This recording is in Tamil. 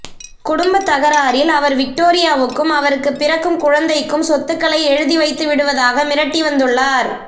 குடும்பத் தகராறில் அவர் விக்டோரியாவுக்கும் அவருக்குப் பிறக்கும் குழந்தைக்கும் சொத்துக்களை எழுதி வைத்து விடுவதாக மிரட்டி வந்துள்ளார்